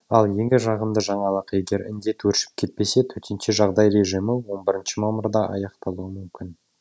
ал ең жағымды жаңалық егер індет өршіп кетпесе төтенше жағдай режимі он бірінші мамырда аяқталуы мүмкін